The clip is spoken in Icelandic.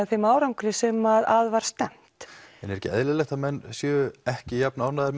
þeim árangri sem að var stefnt er ekki eðlilegt að menn séu ekki jafn ánægðir